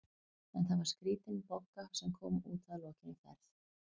En það var skrítin Bogga sem kom út að lokinni ferð.